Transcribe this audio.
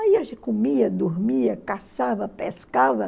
Aí a gente comia, dormia, caçava, pescava.